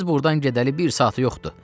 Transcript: Siz burdan gedəli bir saatı yoxdu.